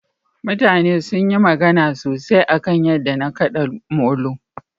mutane sunyi magana sosai akan yadda na kada molo